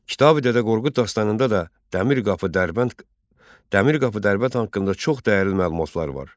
Kitabi Dədə Qorqud dastanında da Dəmir qapı Dərbənd, Dəmir qapı Dərbənd haqqında çox dəyərli məlumatlar var.